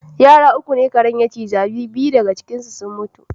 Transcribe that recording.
Yara uku ne karen ya ciza, biyu faga ciinsu sun mutu.